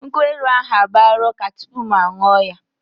Nkwụ elu ahụ agbaala ụka tupu mụ aṅụọ ya.